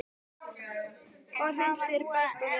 Hvar finnst þér best að vera?